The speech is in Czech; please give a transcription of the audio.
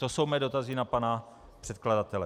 To jsou mé dotazy na pana předkladatele.